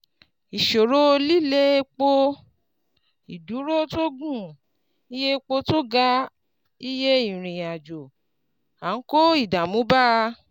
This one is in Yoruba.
Ìṣòro líle epo, ìdúró tó gùn, iye epo tó ga, iye ìrìn-àjò, ń kó ìdààmú bá